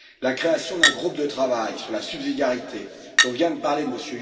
La création d'un groupe de travail sur la subsidiarité, dont vient de parler M.